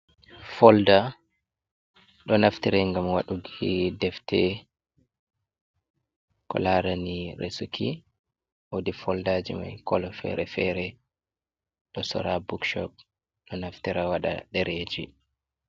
Folda, ɗo naftire ngam waɗuki defte. Ko laarani resuki. Woodi foldaaji mai kolo fere-fere, ɗo sora ha bukshop. Ɗo naftira waɗa dereji.